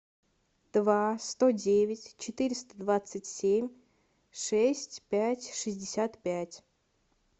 два сто девять четыреста двадцать семь шесть пять шестьдесят пять